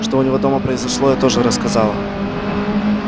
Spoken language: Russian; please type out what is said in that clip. что у него дома произошло я тоже рассказала